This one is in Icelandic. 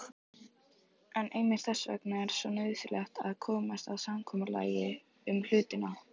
En einmitt þess vegna er svo nauðsynlegt að komast að samkomulagi um hlutina.